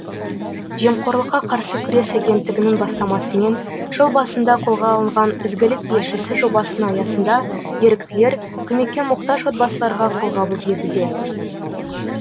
жемқорлыққа қарсы күрес агенттігінің бастамасымен жыл басында қолға алынған ізгілік елшісі жобасының аясында еріктілер көмекке мұқтаж отбасыларға қолғабыс етуде